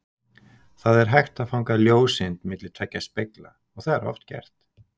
Það er hægt að fanga ljóseind milli tveggja spegla og það er oft gert!